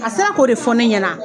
A sera k'o de fɔ ne ɲɛna